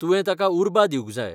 तुवें ताका उर्बा दिवंक जाय.